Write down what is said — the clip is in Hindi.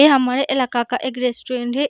ये हमारे इलाका का एक रेस्टोरेंट है।